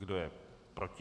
Kdo je proti?